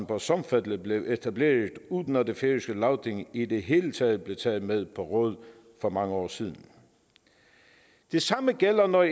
på sornfelli blev etableret uden at det færøske lagting i det hele taget blev taget med på råd for mange år siden det samme gælder når